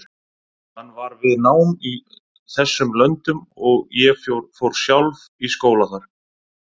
Hann var við nám í þessum löndum og ég fór sjálf í skóla þar.